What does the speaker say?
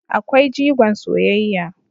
Akwai jigon soyayya